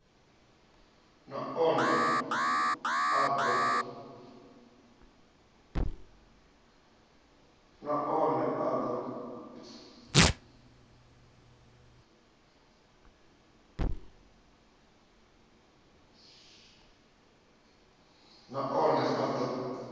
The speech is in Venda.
na one a d o